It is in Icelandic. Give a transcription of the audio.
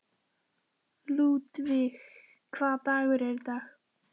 Ludvig, hvaða dagur er í dag?